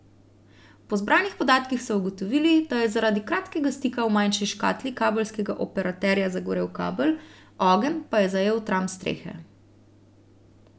Po zbranih podatkih so ugotovili, da je zaradi kratkega stika v manjši škatli kabelskega operaterja zagorel kabel, ogenj pa je zajel tram strehe.